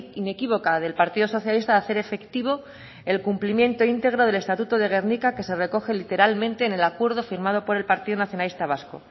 inequívoca del partido socialista de hacer efectivo el cumplimiento íntegro del estatuto de gernika que se recoge literalmente en el acuerdo firmado por el partido nacionalista vasco